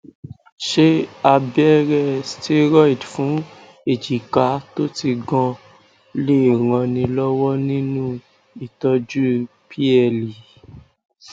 ṣé abere steriod fun ejika to ti gan lè ràn ni lọwọ nínú ìtọjú ple